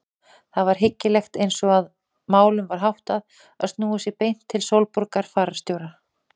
Það var hyggilegast eins og málum var háttað að snúa sér beint til Sólborgar fararstjóra.